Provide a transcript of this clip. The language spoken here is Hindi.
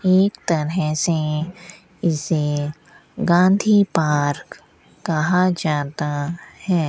एक तरह से इसे गांधी पार्क कहा जाता है।